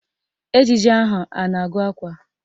Ejije ahụ a na-agụ akwa?